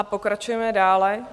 A pokračujeme dále.